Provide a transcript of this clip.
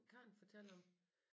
Karen fortalte om